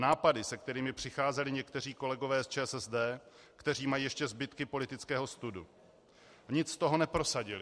Nápady se kterými přicházeli někteří kolegové z ČSSD, kteří mají ještě zbytky politického studu, nic z toho neprosadili.